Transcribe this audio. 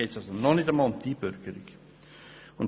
Dort geht es noch nicht um die Einbürgerung.